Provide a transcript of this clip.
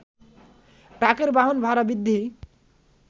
ট্রাকের বাহন ভাড়া বৃদ্ধিই